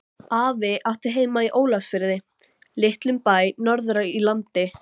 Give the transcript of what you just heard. Afi átti heima í Ólafsfirði, litlum bæ norður í landi.